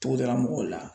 Togodala mɔgɔw la